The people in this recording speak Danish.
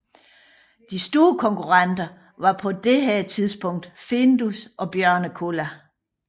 De store konkurrenter var på dette tidspunkt Findus og Björnekulla